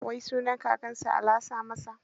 Wai sunan kakansa ala sa masa?